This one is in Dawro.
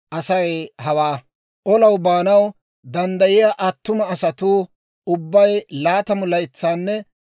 Shin Leewiyaa zaratuu ha paydeteedda asaana paydettibeykkino.